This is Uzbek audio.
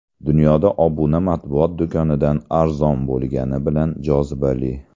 Dunyoda obuna matbuot do‘konidan arzon bo‘lgani bilan jozibali.